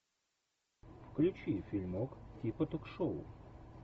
включи фильмок типа ток шоу